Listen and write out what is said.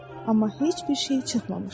amma heç bir şey çıxmamışdır.